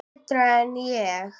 Betur en ég?